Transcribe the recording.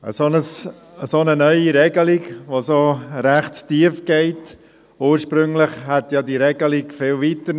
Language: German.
Ursprünglich hätte diese Regelung ja noch viel weitergehen sollen.